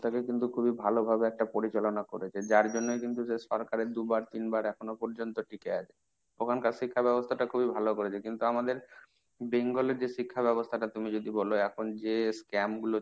তাকে কিন্তু খুবই ভালোভাবে একটা পরিচালনা করেছে যার জন্যই সে কিন্তু সরকারের দুবার তিনবার এখনো পর্যন্ত টিকে আছে। ওখানকার শিক্ষা ব্যবস্থাটা খুবই ভালো করেছে। কিন্তু আমাদের Bengal এর যে শিক্ষা ব্যবস্থাটা তুমি যদি বলো এখন যে scam গুলো,